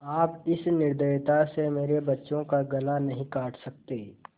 आप इस निर्दयता से मेरे बच्चों का गला नहीं काट सकते